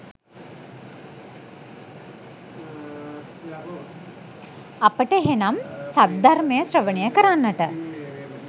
අපට එහෙනම් සද්ධර්මය ශ්‍රවණය කරන්නට